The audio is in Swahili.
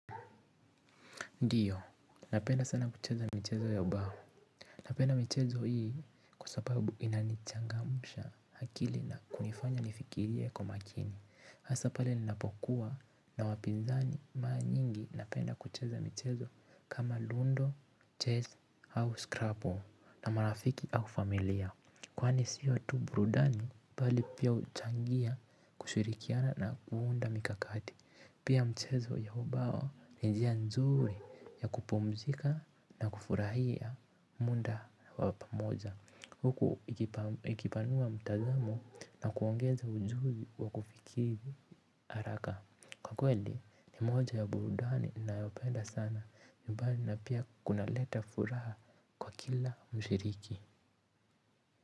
Ndio, napenda sana kucheza michezo ya ubao. Napenda michezo hii kwa sababu inanichangamusha akili na kunifanya nifikirie kwa umakini. Hasa pale ninapokuwa na wapizani mara nyingi napenda kucheza michezo kama lundo, chess au scrabble na marafiki au familia. Kwani sio tu burudani bali pia huchangia kushirikiana na kuunda mikakati. Pia mchezo ya ubao ni njia nzuri ya kupumzika na kufurahia muda wa pamoja huku ikipanua mtazamo na kuongeza ujuzi wa kufikiri haraka kwa kweli ni moja ya burudani nayopenda sana mbali na pia kuna leta furaha kwa kila mshiriki.